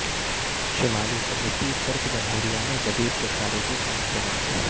شمالی قبرصی ترک جمہوریہ میں جدید ٹیکنالوجی کا استعمال